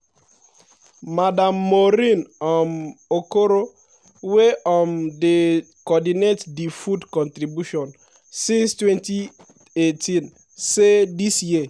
madam maureen um okoro wey um don dey coordinate di food contribution since 2018 say dis year